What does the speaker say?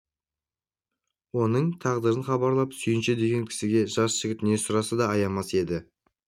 оның тағдырын хабарлап сүйінші деген кісіге жас жігіт не сұраса да аямас еді